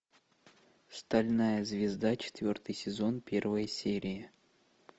стальная звезда четвертый сезон первая серия